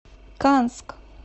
канск